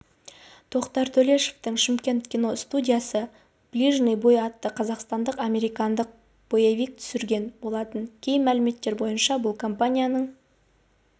тоқтар төлешовтың шымкент киностудиясы ближний бой атты қазақстандық-американдық боевик түсірген болатын кей мәліметтер бойынша бұл компанияның